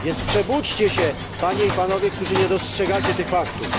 Więc przebudźcie się, Panie i Panowie, którzy nie dostrzegacie tych faktów.